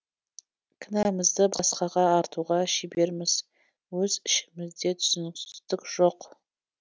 кінәмізді басқаға артуға шеберміз өз ішімізде түсіністік жоқ